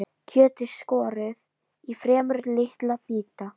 Kjötið skorið í fremur litla bita.